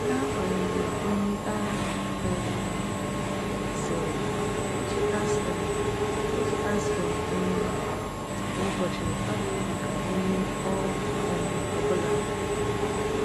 N’agbanyeghị ihe a um sịrị, iji aspirin iji aspirin um kwa ụbọchị abụghị maka onye ọ um bụla.